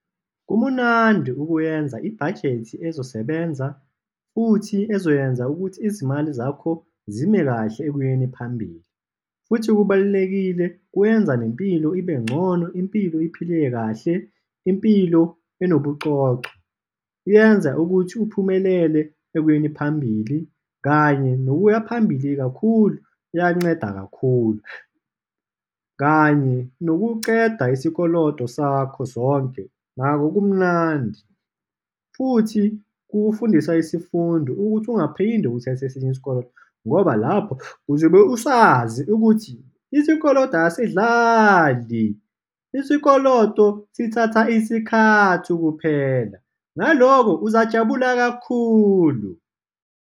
Kumnandi ukwenza ibhajethi ezosebenza futhi ezoyenza ukuthi izimali zakho zime kahle ekuyeni phambili, futhi kubalulekile, kwenza nempilo ibe ngcono, impilo iphile kahle. Impilo enobucoco. Yenza ukuthi uphumelele ekuyeni phambili, kanye nokuya phambili kakhulu kuyanceda kakhulu, kanye nokuceda isikoloto sakho sonke, nako kumnandi. Futhi kukufundiswa isifundo ukuthi ungaphinde uthathe esinye isikoloto, ngoba lapho uzobe usazi ukuthi isikolodo asidlali. Isikoloto sithatha isikhathi ukuphela. Ngalokho, uzajabula kakhulu.